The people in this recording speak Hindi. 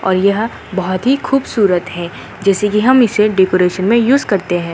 यह बहुत ही खुबसूरत है जैसे कि हम इसे डेकोरेशन में यूज़ करते हैं।